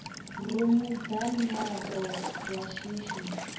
rumu dza miaro ya shishi